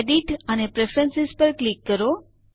edit અને preference પર click કરો